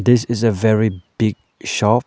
this is a very big shop.